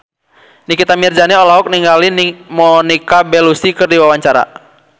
Nikita Mirzani olohok ningali Monica Belluci keur diwawancara